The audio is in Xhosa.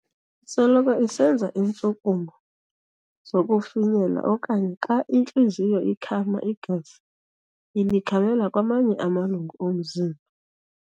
Isoloko isenza intshukumo zokufinyela okanye xa intliziyo ikhama igazi ilikhamela kwamanye amalungu omzimba.